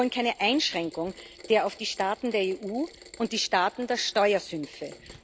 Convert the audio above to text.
Wir wollen keine Einschränkung auf die Staaten der EU und die Staaten der Steuersümpfe.